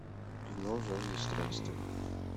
кино жажда странствий